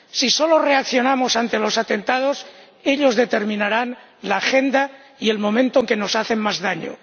Si solo reaccionamos ante los atentados, ellos determinarán la agenda y el momento en que nos hacen más daño.